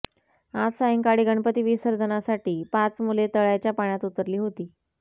आज सायंकाळी गणपती विसर्जनासाठी पाच मुले तळ्याच्या पाण्यात उतरली होती